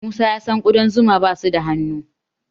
Musa ya san ƙudan zuma basu da hunhu.